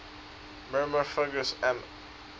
myrmecophagous mammals